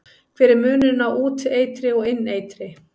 Hver er munurinn á úteitri og inneitri?